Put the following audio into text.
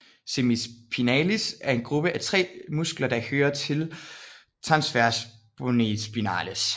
Semispinalis er en gruppe af tre muskler der hører til transversospinales